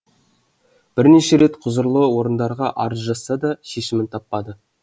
бірнеше рет құзырлы орындарға арыз жазса да шешімін таппады